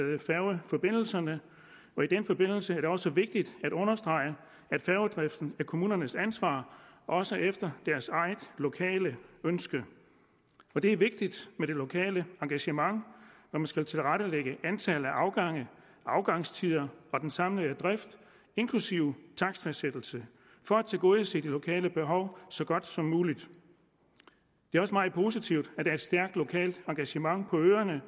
med færgeforbindelserne og i den forbindelse er det også vigtigt at understrege at færgedriften er kommunernes ansvar også efter deres eget lokale ønske det er vigtigt med det lokale engagement når man skal tilrettelægge antallet af afgange afgangstider og den samlede drift inklusive takstfastsættelse for at tilgodese de lokale behov så godt som muligt det er også meget positivt at der er et stærkt lokalt engagement på øerne